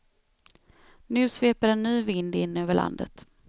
Nu sveper en ny vind in över landet.